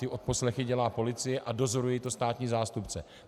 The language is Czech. Ty odposlechy dělá policie a dozoruje to státní zástupce.